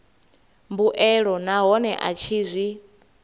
mbuelo nahone a tshi zwi